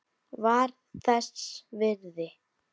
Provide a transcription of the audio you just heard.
Var þess virði!